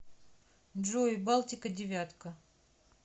джой балтика девятка